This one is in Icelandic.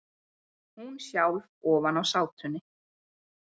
Hún sjálf ofan á sátunni.